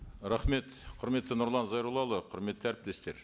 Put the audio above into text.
рахмет құрметті нұрлан зайроллаұлы құрметті әріптестер